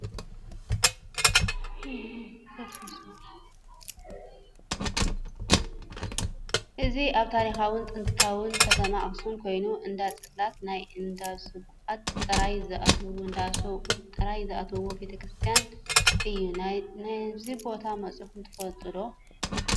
እዚ አብ ታሪካውትን ጥንታዊትን ከተማ አክሱም ኮይኑ እንዳ ፅላት ናይ እንዳ ሰብኡት ጥራይ ዝአተውዎ ቤተ ክርስትያን እዩ። ናብዚ ቦታ መፂኩም ትፈልጡ ዶ?